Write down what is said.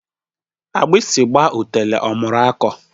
Agbasi gba otule omuru ako